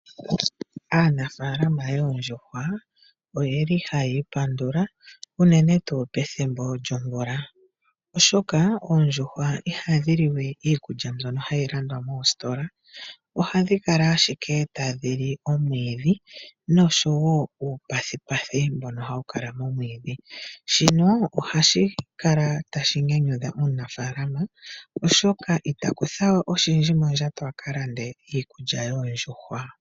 Aanafalama yoondjuhwa oyeli hayi ipandula unene tuu pethimbo lyomvula, oshoka oondjuhwa ihadhi liwe iikulya mbyono hayi landwa moositola ohadhi kala ashike tadhi li omwiidhi nosho wo uupethupethu mbono hawu kala momwiidhi. Shino ohashi kala tashi nyanyudha omunafaalama oshoka itaku thawe oshindji mondjato akalande iikulya yoondjuhwa.